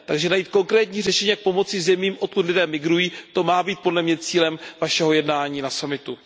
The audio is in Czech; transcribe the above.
Takže najít konkrétní řešení, jak pomoci zemím, odkud lidé migrují, to má být podle mne cílem Vašeho jednání na summitu.